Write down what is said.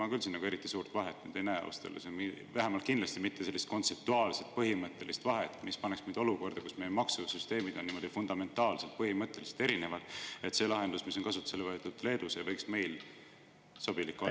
Ma küll siin nagu eriti suurt vahet ei näe, ausalt öeldes, vähemalt kindlasti mitte kontseptuaalset põhimõttelist vahet, mis paneks meid olukorda, kus meie maksusüsteemid oleks fundamentaalselt, põhimõtteliselt erinevad, nii et see lahendus, mis on kasutusele võetud Leedus, ei võiks meile sobilik olla.